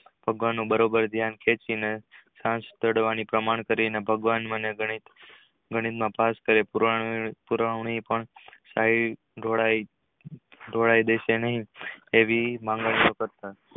ભાગવાનું બરોબર ધ્યાન ખેંચી ને સાંજ પાડવાની પરમં કરી ને ભગવાન મને ગણિત માં પાસ કરે પુરાવાની માં સહી ઢોળાવ દેશે નહિ એવી માંગણી કરી